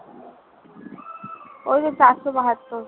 ওই তো চারশো বাহাত্তর